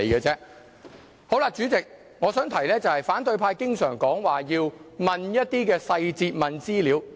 主席，我想提出的是，反對派經常說要詢問一些細節和資料。